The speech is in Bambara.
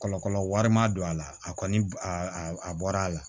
Kɔlɔ wari ma don a la a kɔni a bɔra a la